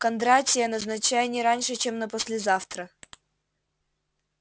кондратия назначай не раньше чем на послезавтра